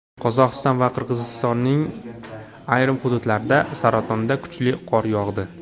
Qozog‘iston va Qirg‘izistonning ayrim hududlarida saratonda kuchli qor yog‘di .